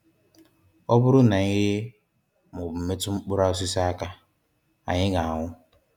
Ọ bụrụ na anyị rie ma ọ bụ metụ mkpụrụ osisi a aka, anyị ga-anwụ.